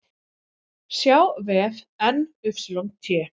sjá vef NYT